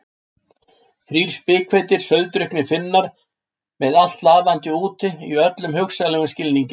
Þrír spikfeitir, sauðdrukknir Finnar með allt lafandi úti, í öllum hugsanlegum skilningi.